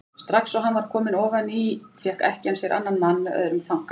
Strax og hann var kominn ofan í fékk ekkjan sér annan mann með öðrum þanka.